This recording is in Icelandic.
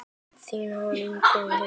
Þín Inga Hlíf.